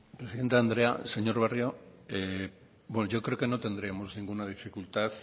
presidente andrea señor barrio yo creo que no tendríamos ninguna dificultad